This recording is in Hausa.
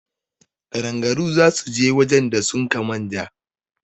Ƙadangaru za su je wajen da sun ka manja